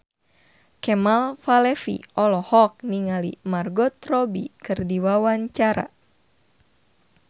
Kemal Palevi olohok ningali Margot Robbie keur diwawancara